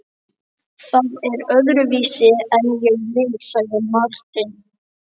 Það er öðruvísi en ég vil, sagði Marteinn.